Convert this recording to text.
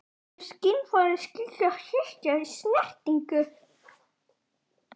Hún er skynfæri- skynjar hita, kulda og hvers konar snertingu.